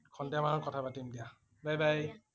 সন্ধিয়া মনত কথা পাতিম দিয়া । bye bye